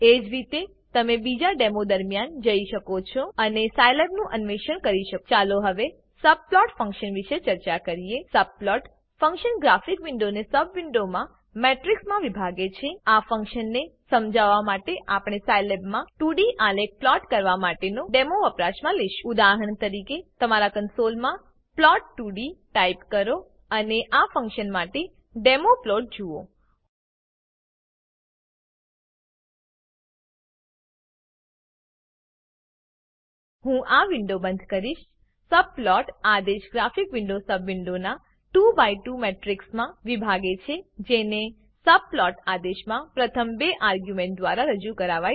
એ જ રીતે તમે બીજા ડેમો દરમ્યાન જઈ શકો છો અને સાયલેબનું અન્વેષણ કરી શકો છો ચાલો હવે સબપ્લોટ ફંક્શન વિષે ચર્ચા કરીએ subplot ફંક્શન ગ્રાફિક વિન્ડોને સબ વિન્ડોના મેટ્રીક્સમાં વિભાગે છે આ ફંક્શનને સમજાવવા માટે આપણે સાયલેબમાં 2ડી આલેખ પ્લોટ કરવા માટેનો ડેમો વપરાશમાં લેશું ઉદાહરણ તરીકે તમારા કન્સોલમાં પ્લોટ 2ડી ટાઈપ કરો અને આ ફંક્શન માટે ડેમો પ્લોટ જુઓ હું આ વિન્ડો બંધ કરીશ સબપ્લોટ આદેશ ગ્રાફિક વિન્ડોને સબ વિન્ડોનાં 2 બાય 2 મેટ્રીક્સમાં વિભાગે છે જેને સબપ્લોટ આદેશમાં પ્રથમ બે આર્ગ્યુંમેંટ દ્વારા રજુ કરાવાય છે